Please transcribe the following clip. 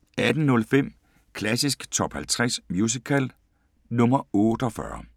18:05: Klassisk Top 50 Musical – nr. 48